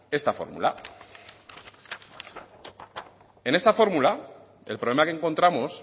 esta fórmula en esta fórmula el problema que encontramos